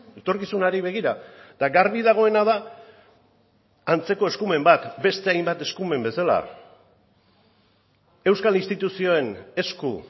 etorkizunari begira eta garbi dagoena da antzeko eskumen bat beste hainbat eskumen bezala euskal instituzioen esku